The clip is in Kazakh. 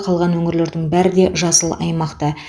қалған өңірлердің бәрі де жасыл аймақта